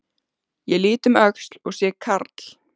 Ég lít um öxl og sé karl